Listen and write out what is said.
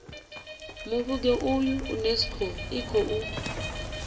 muvhigo uyu unesco i khou